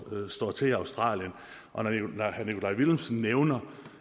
til i australien og når herre nikolaj villumsen nævner